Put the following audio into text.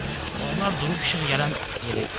Onlar durub işıq gələn yerə getdilər.